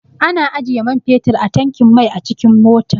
Ana ajiye man fetir a tankin mai a cikin mota.